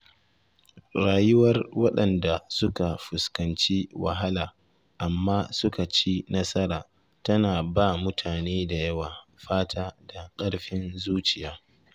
Rayuwar waɗanda suka fuskanci wahala amma suka ci nasara tana ba mutane da yawa fata da ƙarfin zuciya.